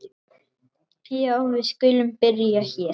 Já, við skulum byrja hér.